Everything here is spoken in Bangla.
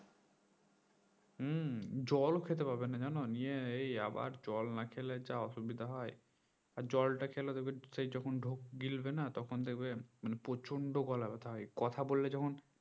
হম জলও খেতে পারবে না জানো নিয়ে এই আবার জল না খেলে যা অসুবিসা হয় আর জল খেলে দেখবে যখন ঢোক গিলবে না তখন দেখবে প্রচন্ড গলা ব্যথা হয় কথা বললে যখন